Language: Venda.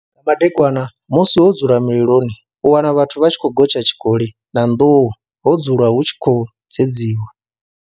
Nga madekwana musi ho dzulwa mililoni u wana vhathu vha tshi khou gotsha tshikoli na nḓuhu ho dzulwa hu tshi khou dzedziwa.